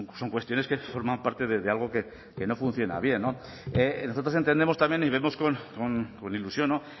son cuestiones que forman parte de algo que no funciona bien no nosotros entendemos también y vemos con ilusión no